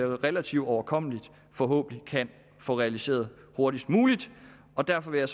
relativt overkommeligt forhåbentlig kan få realiseret hurtigst muligt derfor vil jeg